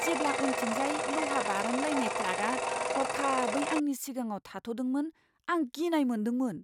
जेब्ला उनथिंजाय लहा बारनलायनाय ट्राकआ हरखाबै आंनि सिगाङाव थाद'दोंमोन, आं गिनाय मोनदोंमोन।